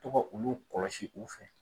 Tɔgɔ olu kɔlɔsi u fɛ